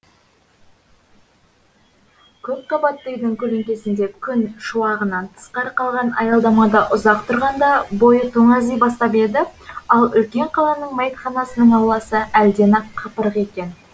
көп қабатты үйдің көлеңкесінде күн шуағынан тысқары қалған аялдамада ұзақ тұрғанда бойы тоңази бастап еді ал үлкен қаланың мәйітханасының ауласы әлден ақ қапырық екен